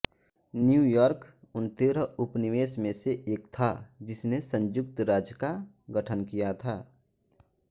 New York उन तेरह उपनिवेश में से एक था जिसने संयुक्त राज्य का गठन किया था